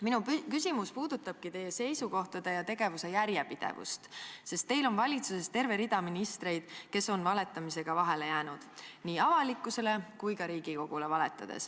Minu küsimus puudutabki teie seisukohtade ja tegevuse järjepidevust, sest teil on valitsuses terve rida ministreid, kes on valetamisega vahele jäänud, olles valetanud nii avalikkusele kui ka Riigikogule.